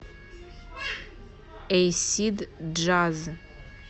эйсид джаз